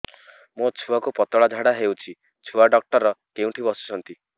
ମୋ ଛୁଆକୁ ପତଳା ଝାଡ଼ା ହେଉଛି ଛୁଆ ଡକ୍ଟର କେଉଁଠି ବସୁଛନ୍ତି